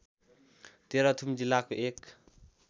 तेह्रथुम जिल्लाको एक